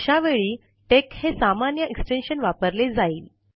अशा वेळी टेक हे सामान्य एक्स्टेंशन वापरले जाईल